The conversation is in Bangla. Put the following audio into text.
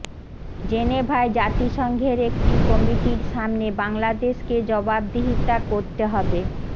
জেনেভায় জাতিসংঘের একটি কমিটির সামনে বাংলাদেশকে জবাবদিহিতা করতে হবে